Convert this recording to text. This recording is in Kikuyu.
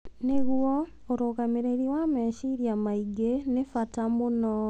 Nĩguo, ũrũgamĩrĩri wa meciria maingĩ nĩ bata mũno.